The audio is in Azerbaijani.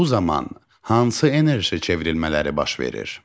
Bu zaman hansı enerji çevrilmələri baş verir?